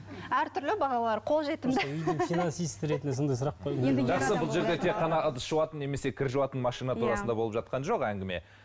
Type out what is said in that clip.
әртүрлі бағалары қолжетімді үйдің финансист ретінде сондай сұрақ тек қана ыдыс жуатын немесе кір жуатын машина турасында болып жатқан жоқ әңгіме